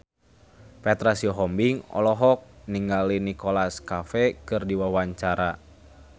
Petra Sihombing olohok ningali Nicholas Cafe keur diwawancara